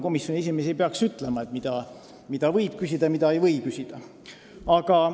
Komisjoni esimees ei tohiks meile öelda, mida võib küsida ja mida ei või küsida.